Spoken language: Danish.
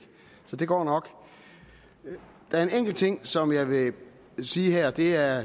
så det går nok der er en enkelt ting som jeg vil sige her og det er